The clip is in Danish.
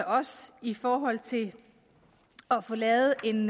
os i forhold til at få lavet en